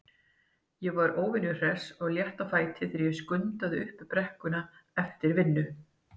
Ég var óvenju hress og létt á fæti þegar ég skundaði upp brekkuna eftir vinnu.